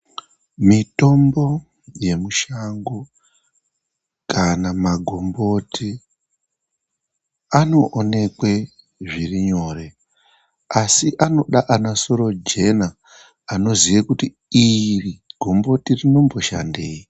Mitombo yemushango kana magomboti anoonekwe zviri nyore asi anoda ana soro jena anoziye kuti iri gomboti rino mboshandei.